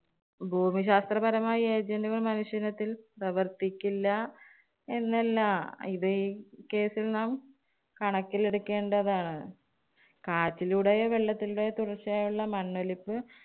ഭൂമിശാസ്ത്രപരമായി ഏതെങ്കിലും മനുഷ്യയിനത്തില്‍ പ്രവര്‍ത്തിക്കില്ല എന്നല്ല. ഇത് ഈ case ല്‍ നാം കണക്കിലെടുക്കേണ്ടതാണ്. കാറ്റിലൂടെയും, വെള്ളത്തിലൂടെയും ഉള്ള മണ്ണൊലിപ്പ്